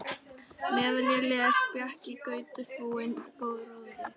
Meðan ég les bjakk í grautfúnum gróðri.